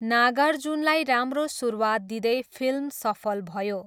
नागार्जुनलाई राम्रो सुरुवात दिँदै फिल्म सफल भयो।